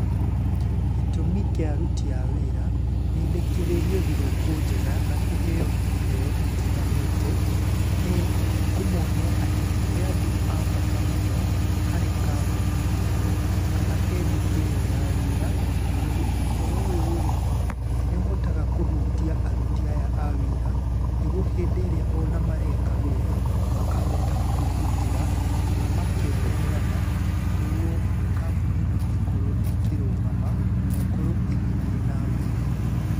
Gĩtũmi kĩa aruti a wĩra, mendekithĩrio thigũkũ njega na kũheo iheo itiganĩte, nĩ kũmonia atĩ nĩ andũ a bata mũno, harĩ kambuni-inĩ ĩyo kana he nduka ĩyo ya wĩra, tondũ ũhoro ũyũ rĩ, nĩ ũhotaga kũhutia aruti aya a wĩra nĩguo hĩndĩ ĩrĩa ona mareka wĩra makahota kwĩrutĩra na makeheana nĩguo kambuni ĩno ĩkorwo ĩkĩrũgama na ĩkorwo ĩgĩthiĩ na mbere.